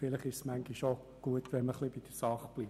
Vielleicht ist es aber manchmal gut, bei der Sache zu bleiben.